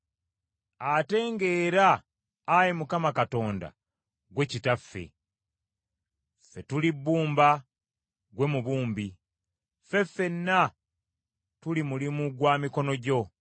Ate ng’era, Ayi Mukama Katonda, ggwe Kitaffe. Ffe tuli bbumba, ggwe mubumbi, ffe ffenna tuli mulimu gwa mikono gyo.